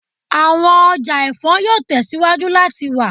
Awọn ọja ẹfọ yoo tẹsiwaju lati wa